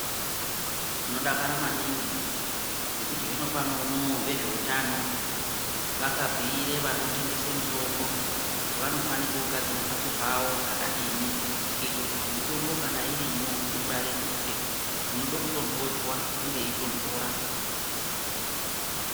Tinodakara maningi ngekuti zvinopano vezveutano vakabhuire vanotengese mitombo kuti vanofanire kugadzire mhatso dzavo zvakadini. Kuite kuti mitombo kana irimwo ingwaririke inode kutonhodzwa inge yeitonhora.